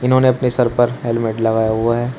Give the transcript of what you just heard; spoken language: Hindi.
इन्होंने अपने सर पर हेलमेट लगाया हुआ है।